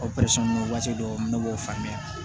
O waati dɔw ne b'o faamuya